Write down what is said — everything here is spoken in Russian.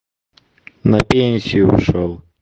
на пенсию ушёл